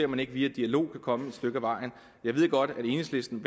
man ikke via dialog kan komme et stykke ad vejen jeg ved godt at enhedslisten